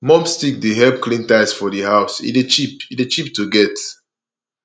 mob stick dey help clean tiles for di house e dey cheap e dey cheap to get